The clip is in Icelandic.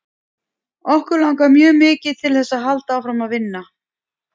Okkur langar mjög mikið til þess að halda áfram að vinna.